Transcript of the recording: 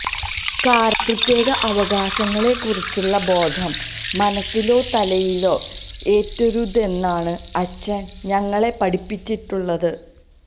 കാരണം പ്രത്യേക അവകാശങ്ങളെക്കുറിച്ചുള്ള ബോധം മനസ്സിലോ തലയിലോ ഏറ്റരുതെന്നാണ് അച്ഛന് ഞങ്ങളെ പഠിപ്പിച്ചിട്ടുള്ളത്